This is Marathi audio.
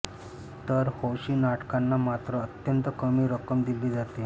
तर हौशी नाटकांना मात्र अत्यंत कमी रक्कम दिली जाते